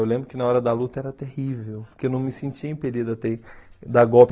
Eu lembro que na hora da luta era terrível, porque eu não me sentia impedido a ter dar golpe.